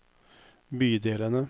bydelene